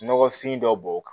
Nɔgɔfin dɔ b'o kan